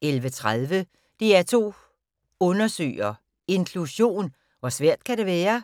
11:30: DR2 Undersøger: Inklusion - hvor svært kan det være?